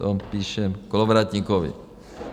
- To píše Kolovratníkovi.